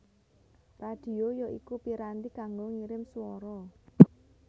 Radhio ya iku piranti kanggo ngirim swara